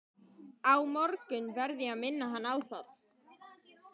Á morgun verð ég að minna hann á það.